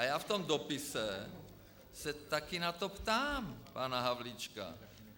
A já v tom dopise se také na to ptám pana Havlíčka.